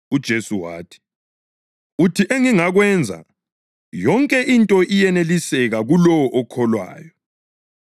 UJesu wathi, “Uthi ‘engingakwenza?’ Yonke into iyeneliseka kulowo okholwayo.”